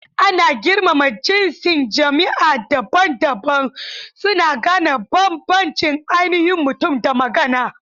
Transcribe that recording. Ana girmama jinsin jima'i daban-daban, suna gane bambancin ainihin mutum da magana.